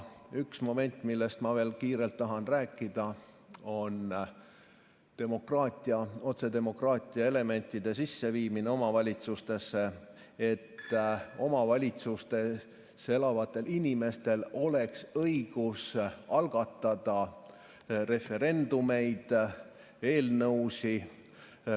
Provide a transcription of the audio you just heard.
Üks moment, millest ma veel kiirelt tahan rääkida, on otsedemokraatia elementide sisseviimine omavalitsustesse, et omavalitsustes elavatel inimestel oleks õigus algatada referendumeid, eelnõusid.